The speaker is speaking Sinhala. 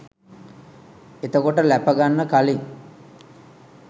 එතකොට ලැප ගන්න කලින්